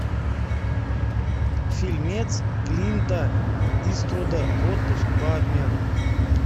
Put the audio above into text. фильмец клинта иствуда отпуск по обмену